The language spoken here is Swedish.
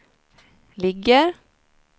ligger